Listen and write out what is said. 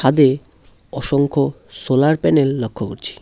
অসংখ্য solar panel লক্ষ্য করছি।